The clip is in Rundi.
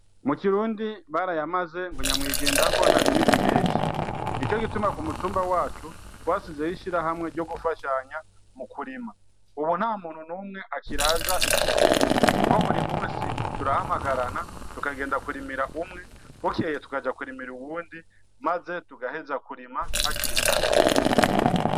Mu kirundi barayamaze ngo nyamwigendako ntarimira impeshi, nico gituma kumutumba wacu twashizeho ishirahamwe ryo gufashanya mu kurima ubu ntamuntu n'umwe akiraza ikivi kuko buri munsi turahamagarana tukagenda kurimira umwe bukeye tukaja kurimira uwundi maze tugaheza kurima hakiri kare.